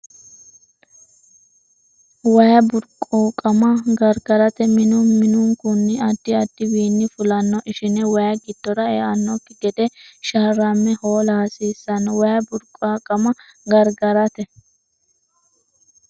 Way burquuqama gargarate minu minunkunninna addi addi wiinni fulanno ishine way giddora eannokki gede sharramme hoola hasiissanno Way burquuqama gargarate.